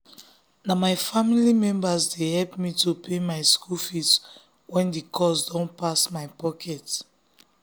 na my family members dey help me to pay my school fees when the cost dun pass my pocket